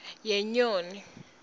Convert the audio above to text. yenyoni